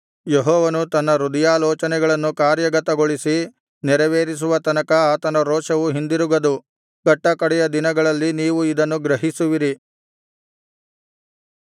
ಯೆಹೋವನು ತನ್ನ ಹೃದಯಾಲೋಚನೆಯನ್ನು ಕಾರ್ಯಗತಗೊಳಿಸಿ ನೆರವೇರಿಸುವ ತನಕ ಆತನ ರೋಷವು ಹಿಂದಿರುಗದು ಕಟ್ಟಕಡೆಯ ದಿನಗಳಲ್ಲಿ ನೀವು ಇದನ್ನು ಗ್ರಹಿಸುವಿರಿ